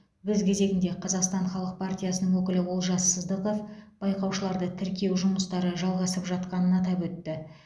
өз кезегінде қазақстан халық партиясының өкілі олжас сыздықов байқаушыларды тіркеу жұмыстары жалғасып жатқанын атап өтті